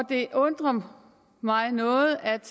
det undrer mig noget at